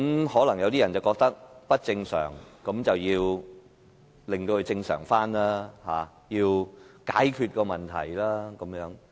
可能有些人覺得情況不正常，便要令它回復正常，要解決問題。